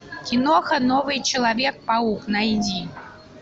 киноха новый человек паук найди